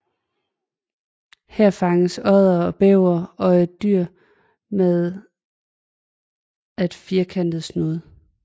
Her fanges oddere og bævere og et dyr med at firkantet snude